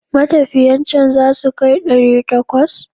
Matafiyan can za su kai ɗari takwas?